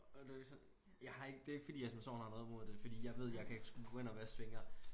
Og det sådan jeg har ikke det ikke fordi jeg som sådan har noget imod det for jeg kan sgu gå ind og vaske fingre